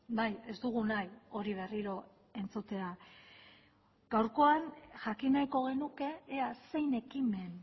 bai ez dugu nahi hori berriro entzutea gaurkoan jakin nahiko genuke ea zein ekimen